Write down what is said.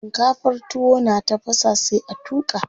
Shinkafar tuwo na tafasa sai a tuƙa.